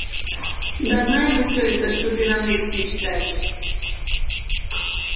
да знаем мы всё это что ты нам лекции читаешь